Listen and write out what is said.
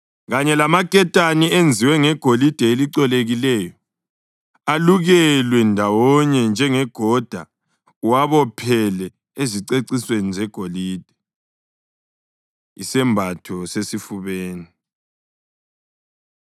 kanye lamaketane enziwe ngegolide elicolekileyo alukelwe ndawonye njengegoda uwabophele ezicecisweni zegolide.” Isembatho Sesifubeni